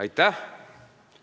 Aitäh!